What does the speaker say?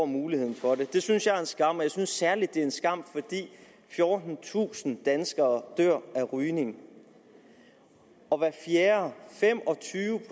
muligheden for det det synes jeg er en skam og jeg synes særligt at det er en skam fordi fjortentusind danskere dør af rygning og hver fjerde fem og tyve